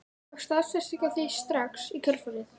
Hún fékk staðfestingu á því strax í kjölfarið.